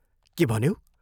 के भन्यौ?